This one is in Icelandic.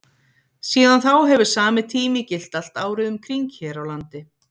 síðan þá hefur sami tími gilt allt árið um kring hér á landi